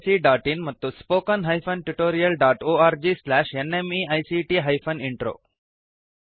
oscariitbacಇನ್ ಮತ್ತು spoken tutorialorgnmeict intro